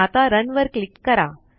आता Runवर क्लिक करा